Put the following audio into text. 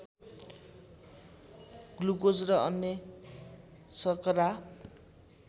glucose र अन्य सर्करा